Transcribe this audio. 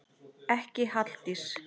Ekki Halldís